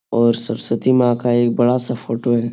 और सरस्वती माँ का एक बड़ा सा फोटो है।